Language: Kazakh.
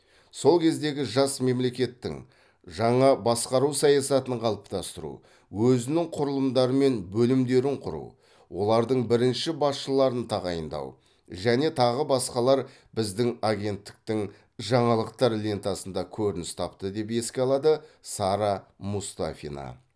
сол кездегі жас мемлекеттің жаңа басқару саясатын қалыптастыру өзінің құрылымдары мен бөлімдерін құру олардың бірінші басшыларын тағайындау және тағы басқалар біздің агенттіктің жаңалықтар лентасында көрініс тапты деп еске алады сара мұстафина